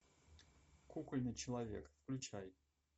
кукольный человек включай